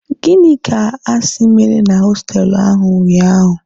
Gịnị ka a si mere na hostelụ ahụ unyaahụ?